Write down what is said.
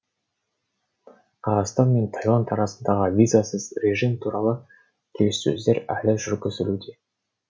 қазақстан мен тайланд арасында визасыз режим туралы келіссөздер әлі жүргізілуде